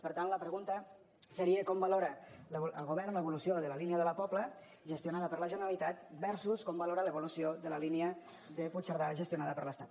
per tant la pregunta seria com valora el govern l’evolució de la línia de la pobla gestionada per la generalitat versus com valora l’evolució de la línia de puigcerdà gestionada per l’estat